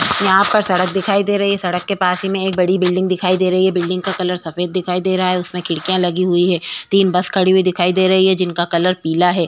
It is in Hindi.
यहाँ पर सड़क दिखाई दे रही है सड़क के पास ही में एक बडी बिल्डिंग दिखाई दे रही है बिल्डिंग का कलर सफ़ेद दिखाई दे रहा है उसने खिड़किया लगी हुवी है तीन बस खड़ी हुवी दिखाई दे रही है जिनका रंग पीला है।